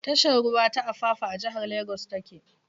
Tashar ruwa ta Apapa a jihar Lagos ta ke.